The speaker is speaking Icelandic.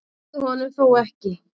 Það dugði honum þó ekki.